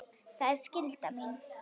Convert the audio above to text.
Það er skylda mín.